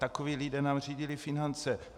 Takoví lidé nám řídili finance.